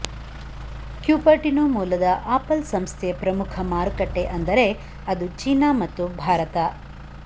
Cupertino ಮೂಲದ Apple ಸಂಸ್ಥೆಯ ಪ್ರಮುಖ ಮಾರುಕಟ್ಟೆ ಅಂದರೆ ಅದು ಚೀನಾ ಮತ್ತು ಭಾರತ